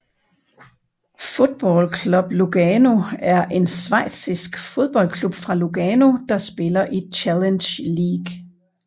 Football Club Lugano er en Schweizisk fodboldklub fra Lugano der spiller i Challenge League